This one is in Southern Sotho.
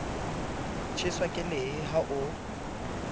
tjheswa ke lehe ha o